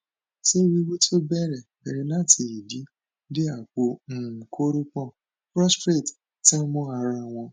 ṣé wíwú tó bẹrẹ bẹrẹ láti ìdí dé àpò um kórópọn prostrate tan mọ ara wọn